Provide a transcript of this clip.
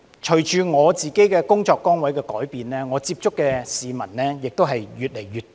隨着我的工作崗位改變，我接觸的市民亦越來越多。